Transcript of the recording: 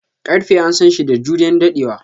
Karfe an San shi da juriyan daddewa.